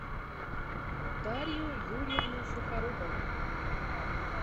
дарью юрьевну сухорукову